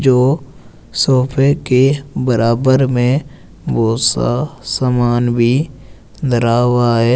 जो सोफे के बराबर में बहुत सा सामान भी धरा हुआ है।